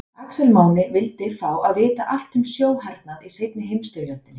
Axel Máni vildi fá að vita allt um sjóhernað í seinni heimsstyrjöldinni.